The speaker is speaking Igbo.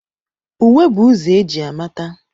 Uwe bụ ụzọ e ji amata.